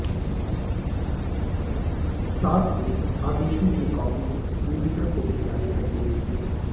साथ ही आदेशों की कॉपी मीडिया को भी जारी कर दी गई थी